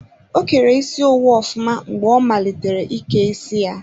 O kere isi owu ofụma mgbe ọ malitere ike isi ya.